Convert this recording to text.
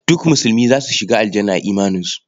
Duk musulmi za su shiga Aljanna a imaninsu.